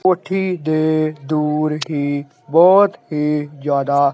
ਕੋਠੀ ਦੇ ਡੋਰ ਹੀ ਬਹੁਤ ਹੀ ਜਿਆਦਾ--